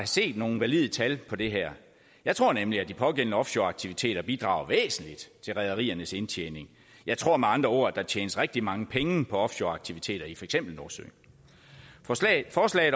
set nogle valide tal på det her jeg tror nemlig at de pågældende offshoreaktiviteter bidrager væsentligt til rederiernes indtjening jeg tror med andre ord at der tjenes rigtig mange penge på offshoreaktiviteter i for eksempel nordsøen forslaget